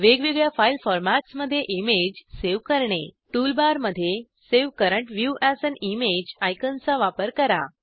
वेगवेगळ्या फाईल फॉरमॅट्समध्ये image save करणे टूलबारमध्ये save current view as an image आयकॉनचा वापर करा